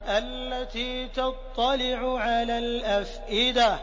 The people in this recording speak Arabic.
الَّتِي تَطَّلِعُ عَلَى الْأَفْئِدَةِ